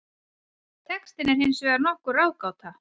Textinn er hins vegar nokkur ráðgáta.